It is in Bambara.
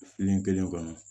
kelen kɔnɔ